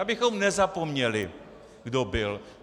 Abychom nezapomněli, kdo byl.